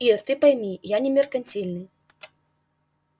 ир ты пойми я не меркантильный